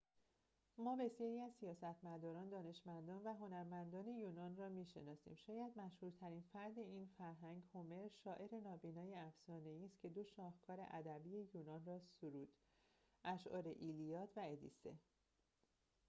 ما بسیاری از سیاستمداران دانشمندان و هنرمندان یونان را می‌شناسیم شاید مشهورترین فرد این فرهنگ هومر شاعر نابینای افسانه‌ای است که دو شاهکار ادبی یونان را سرود اشعار ایلیاد و ادیسه